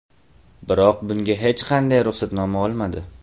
Biroq bunga hech qanday ruxsatnoma olmadi.